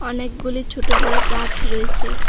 অনেকগুলি ছোট বড় গাছ রয়েছে।